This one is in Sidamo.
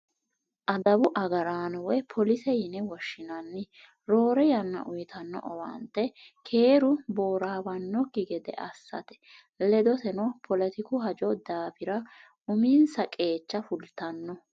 Adawu agarraano woyi police yine woshshinanni roore yanna uyittano owaante keeru boorawanokki gede assate ledoteno poletiku hajo daafira uminsa qeecha fultano.